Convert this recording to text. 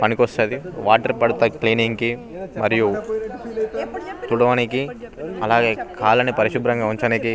పనికొస్తాది వాటెర్ పట్టాడి క్లీనింగ్ కి మరియు తుడవానికి అలానే కాళ్లని పారిశుబ్రంగా ఉంచానికి --